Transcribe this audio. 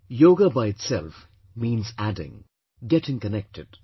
Yoga by itself means adding getting connected